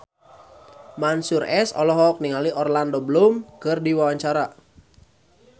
Mansyur S olohok ningali Orlando Bloom keur diwawancara